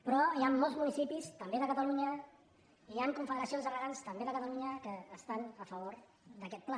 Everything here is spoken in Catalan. però hi han molts municipis també de catalunya hi han confederacions de regants també de catalunya que estan a favor d’aquest pla